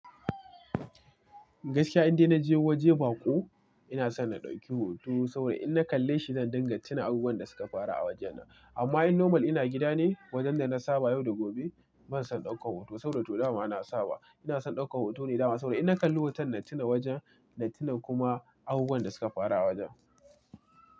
Gaskiya idan na je waje baƙo, ina son na ɗauki hoto saboda in na kalle shi, zan dinga tuna abubuwan da suka faru a wajena. Amma in normal ina gida ne, wajen da na saba yau da gobe, ban son ɗaukar hoto saboda toh dama na saba. Ina son ɗaukar hoto ne dama saboda in na kalli hoton na tuna wajen, na tuna kuma abubuwan da suka faru a wajen.